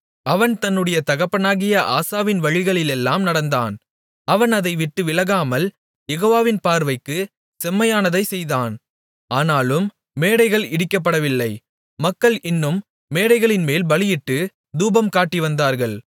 அவன் தன்னுடைய தகப்பனாகிய ஆசாவின் வழிகளிலெல்லாம் நடந்தான் அவன் அதைவிட்டு விலகாமல் யெகோவாவின் பார்வைக்குச் செம்மையானதைச் செய்தான் ஆனாலும் மேடைகள் இடிக்கப்படவில்லை மக்கள் இன்னும் மேடைகளின்மேல் பலியிட்டுத் தூபம் காட்டிவந்தார்கள்